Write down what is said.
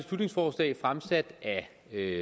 er